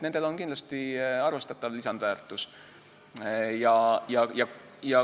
Nendel on kindlasti arvestatav lisandväärtus.